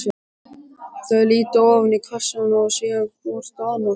Þau líta ofan í kassann og síðan hvort á annað.